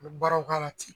U bɛ baaraw k'a la ten